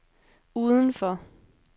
udenfor